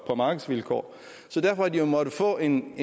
på markedsvilkår så derfor har de jo måttet få en